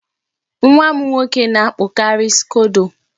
Nwa m nwoke na-akpụkari skodo.